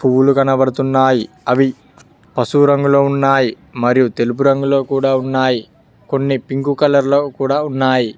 పూలు కనపడుతున్నాయి అవి పశువు రంగంలో ఉన్నాయి మరియు తెలుపు రంగులో కూడా ఉన్నాయి కొన్ని పింకు కలర్ లో కూడా ఉన్నాయి.